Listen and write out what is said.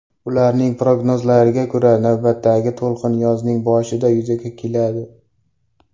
Ularning prognozlariga ko‘ra, navbatdagi to‘lqin yozning boshida yuzaga keladi.